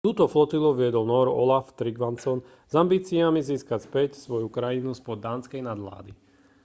túto flotilu viedol nór olaf trygvasson s ambíciami získať späť svoju krajinu spod dánskej nadvlády